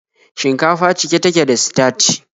Shinkafa cike take da sitaci.